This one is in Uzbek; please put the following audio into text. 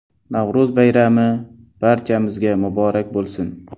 Navro‘z bayrami, barchamizga muborak bo‘lsin!